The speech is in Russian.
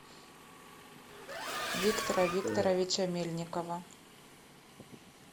виктора викторовича мельникова